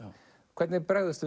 hvernig bregðumst